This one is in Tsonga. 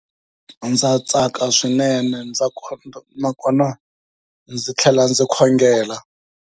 Ndza tsaka swinene, ndza nakona ndzi tlhela ndzi khongela.